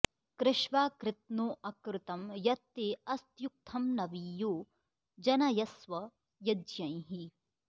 कृ॒ष्वा कृ॑त्नो॒ अकृ॑तं॒ यत्ते॒ अस्त्यु॒क्थं नवी॑यो जनयस्व य॒ज्ञैः